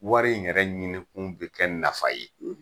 Wari in yɛrɛ ɲini kun bɛ kɛ nafa ye.